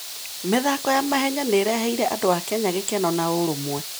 mĩthako ya mahenya nĩ ĩreheire andũ a Kenya gĩkeno na ũrũmwe.